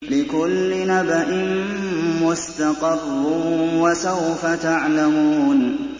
لِّكُلِّ نَبَإٍ مُّسْتَقَرٌّ ۚ وَسَوْفَ تَعْلَمُونَ